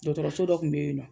Dɔgɔtɔrɔ so dɔ tun bɛ yen nɔ.